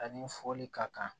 A ni foli ka kan